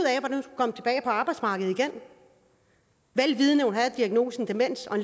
af arbejdsmarkedet vel vidende at hun havde diagnosen demens og